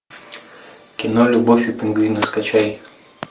кино любовь и пингвины скачай